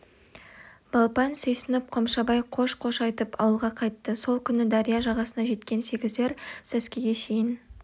балпан сүйсініп қомшабай қош-қош айтып ауылға қайтты сол күні дария жағасына жеткен сегіздер сәскеге шейін